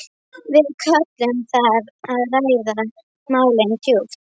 Við köllum það að ræða málin djúpt.